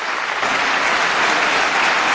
Merci beaucoup, Monsieur le Président.